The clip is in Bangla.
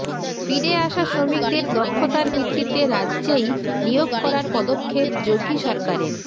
ফিরে আসা শ্রমিকদের দক্ষতার ভিত্তিতে রাজ্যেই নিয়োগ করার পদক্ষেপ যোগী সরকারের